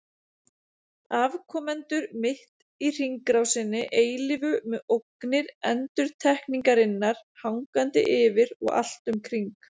Afkomendur mitt í hringrásinni eilífu með ógnir endurtekningarinnar hangandi yfir og allt um kring.